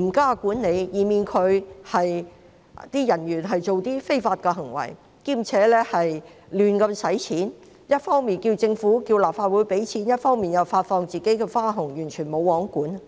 嚴加管理，以免其人員作出非法行為，同時胡亂花費，一方面要求立法會撥款，另一方面又向員工發放花紅呢？